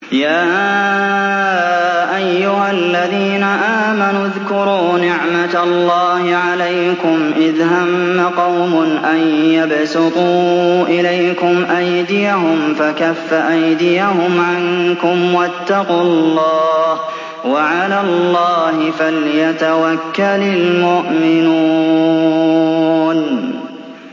يَا أَيُّهَا الَّذِينَ آمَنُوا اذْكُرُوا نِعْمَتَ اللَّهِ عَلَيْكُمْ إِذْ هَمَّ قَوْمٌ أَن يَبْسُطُوا إِلَيْكُمْ أَيْدِيَهُمْ فَكَفَّ أَيْدِيَهُمْ عَنكُمْ ۖ وَاتَّقُوا اللَّهَ ۚ وَعَلَى اللَّهِ فَلْيَتَوَكَّلِ الْمُؤْمِنُونَ